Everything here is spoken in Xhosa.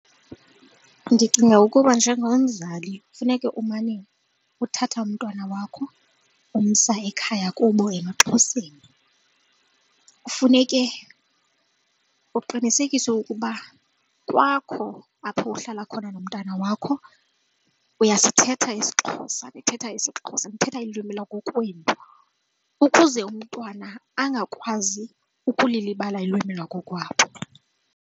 Ndicinga ukuba njengomzali funeka umane uthatha umntwana wakho umsa ekhaya kubo emaXhoseni, kufuneke uqinisekise ukuba kwakho apho uhlala khona nomntana wakho uyasithetha isiXhosa nithetha isiXhosa nithetha iilwimi lakokwenu ukuze umntwana angakwazi ukulilibala ulwimi lwakokwabo.